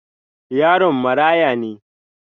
Yaron marãya ne.